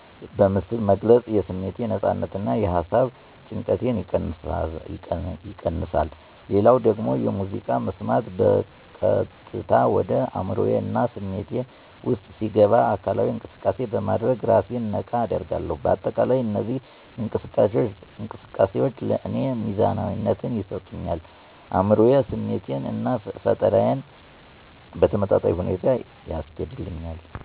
በምስል መግለጽ የስሜት ነፃነትን እና የሃሳብ ጭንቀትን ይቀንሳ። ሌላው ደግሞ ሙዚቃ መስማት በቀጥታ ወደ አዕምሮዬ እና ስሜቴ ውስጥ ሲገባ አካላዊ እንቅሰቃሴ በማድረግ እራሴን ነቃ አደርጋለሁ። በአጠቃላይ እነዚህ እንቅስቃሴዎች ለእኔ ሚዛናዊነትን ይሰጡኛል አዕምሮዬን፣ ስሜቴን እና ፈጠራዬን በተመጣጣኝ ሁኔታ ያስኬዱልኛል።